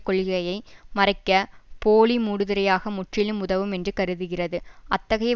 கொள்கையை மறைக்க போலி மூடுதிரையாக முற்றிலும் உதவும் என்று கருதிகிறது அத்தகைய